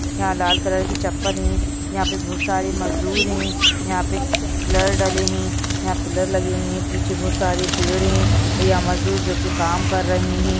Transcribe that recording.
यहां लाल कलर की चप्पल हैं यहां पे बहुत सारे मजदूर है यहां पे पिलर डले हैं यहां पिलर लगे हुए हैं पीछे बहुत सारे पेड़ हैं यहां मजदूर जो कि काम कर रहे हैं।